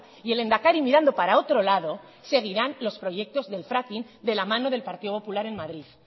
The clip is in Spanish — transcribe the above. y el lehendakari mirando para otro lado seguirán los proyectos del fracking de la mano del partido popular en madrid